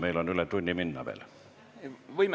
Meil on üle tunni veel minna.